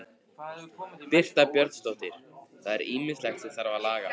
Birta Björnsdóttir: Það er ýmislegt sem þarf að laga?